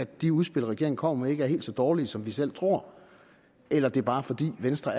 de udspil regeringen kommer med ikke er helt så dårlige som vi selv tror eller det bare er fordi venstre